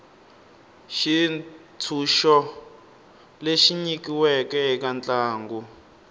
xitshunxo lexi nyikiweke eka ntlangu